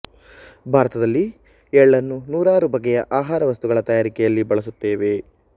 ಭಾರತದಲ್ಲಿ ಎಳ್ಳನ್ನು ನೂರಾರು ಬಗೆಯ ಆಹಾರ ವಸ್ತುಗಳ ತಯಾರಿಕೆಯಲ್ಲಿ ಬಳಸುತ್ತೇವೆ